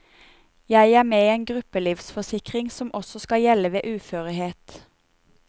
Jeg er med i en gruppelivsforsikring som også skal gjelde ved uførhet.